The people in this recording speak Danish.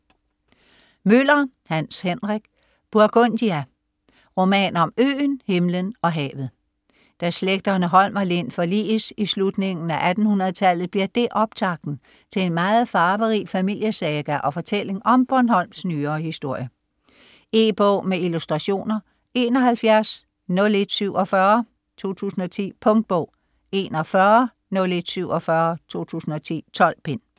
Møller, Hans Henrik: Burgundia: roman om øen, himlen og havet Da slægterne Holm og Lind forliges i slutningen af 1800-tallet bliver det optakten til en meget farverig familiesaga og fortælling om Bornholms nyere historie. E-bog med illustrationer 710147 2010. Punktbog 410147 2010. 12 bind.